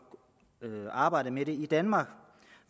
arbejdet med det i danmark